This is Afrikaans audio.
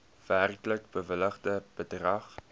werklik bewilligde bedrag